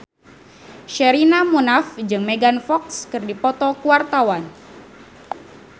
Sherina Munaf jeung Megan Fox keur dipoto ku wartawan